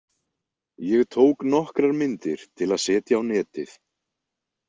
Ég tók nokkrar myndir til að setja á netið.